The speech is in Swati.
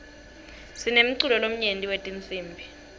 sinemculo lomnyenti wetinsibi